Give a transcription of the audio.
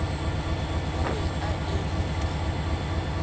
o be a eme ka